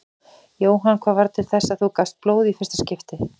Jóhann: Hvað varð til þess að þú gafst blóð í fyrsta skipti?